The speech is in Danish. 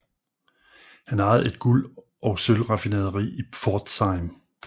Han ejede et guld og sølv raffinaderi i Pforzheim